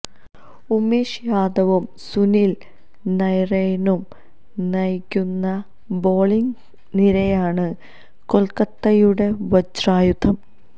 ഉമേഷ് യാദവും സുനിൽ നരൈയ്നും നയിക്കുന്ന ബോളിങ്ങ് നിരയാണ് കൊൽക്കത്തയുടെ വജ്രായുധം